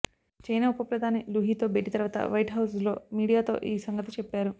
China ఉప ప్రధాని Liu హీతో భేటీ తర్వాత వైట్హౌజ్లో మీడియాతో ఈ సంగతి చెప్పారు